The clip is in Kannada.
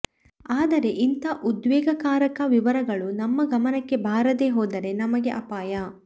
ಆದರೆ ಇಂಥ ಉದ್ವೇಗಕಾರಕ ವಿವರಗಳು ನಮ್ಮ ಗಮನಕ್ಕೆ ಬಾರದೆ ಹೋದರೆ ನಮಗೆ ಅಪಾಯ